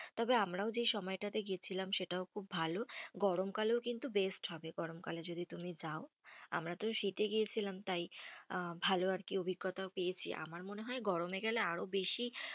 তবে আমরাও যে সময়টাতে গেছিলাম সেটাও খুব ভালো। গরমকালেও কিন্তু best হবে। গরমকালে যদি তুমি যাও। আমরা তো শীতে গিয়েছিলাম, তাই আহ ভালো আর কি অভিজ্ঞতা পেয়েছি। আমার মনে হয় গরমে গেলে আরও বেশি